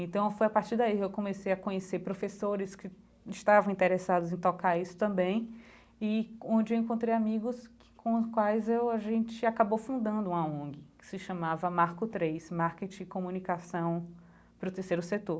Então foi a partir daí que eu comecei a conhecer professores que estavam interessados em tocar isso também e onde eu encontrei amigos com os quais a gente acabou fundando uma ONG, que se chamava Marco Três, Marketing e Comunicação para o Terceiro Setor.